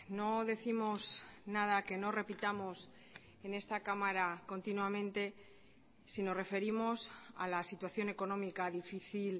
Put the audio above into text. no décimos nada que no repitamos en esta cámara continuamente si nos referimos a la situación económica difícil